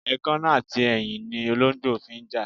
Èkánná àti eyín ni olóǹgbò fi ń jà.